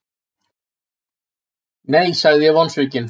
Nei, sagði ég vonsvikinn.